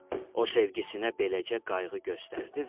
O sevgisinə beləcə qayğı göstərdi